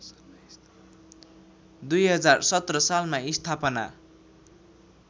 २०१७ सालमा स्थापना